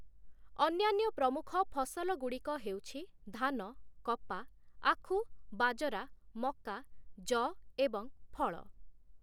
ଅନ୍ୟାନ୍ୟ ପ୍ରମୁଖ ଫସଲଗୁଡ଼ିକ ହେଉଛି ଧାନ, କପା, ଆଖୁ, ବାଜରା, ମକା, ଯଅ ଏବଂ ଫଳ ।